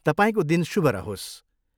तपाईँको दिन शुभ रहोस्।